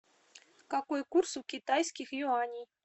какой курс у китайских юаней